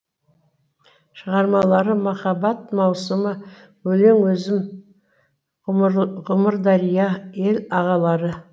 шығармалары махаббат маусымы өлең өзім ғұмырдария ел ағалары